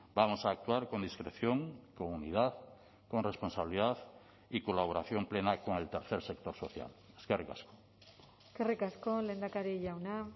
vamos a actuar con discreción con unidad con responsabilidad y colaboración plena con el tercer sector social eskerrik asko eskerrik asko lehendakari jauna